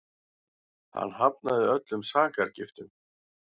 Hann hafnaði öllum sakargiftum